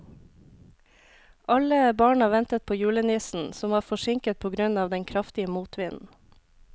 Alle barna ventet på julenissen, som var forsinket på grunn av den kraftige motvinden.